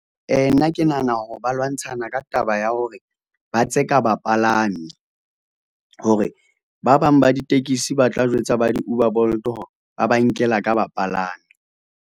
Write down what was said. Nna ke nahana hore ba lwantshana ka taba ya hore ba tseka bapalami, hore ba bang ba ditekisi ba tla jwetsa ba di-Uber, Bolt hore ba ba nkela ka bapalami.